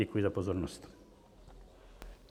Děkuji za pozornost.